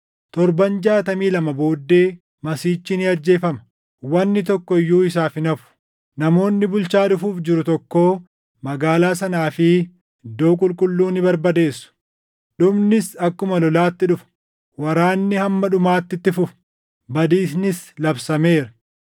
‘Torban’ jaatamii lama booddee Masiihichi ni ajjeefama; wanni tokko iyyuu isaaf hin hafu. Namoonni bulchaa dhufuuf jiru tokkoo magaalaa sanaa fi iddoo qulqulluu ni barbadeessu. Dhumnis akkuma lolaatti dhufa: Waraanni hamma dhumaatti itti fufa; badiisnis labsameera.